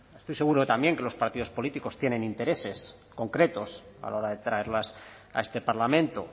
estoy seguro de que también los partidos políticos tienen intereses concretos a la hora de traerlas a este parlamento